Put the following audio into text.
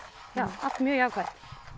allt mjög jákvætt